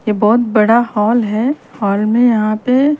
ये बहुत बड़ा हॉल हे हॉल में यहा पे --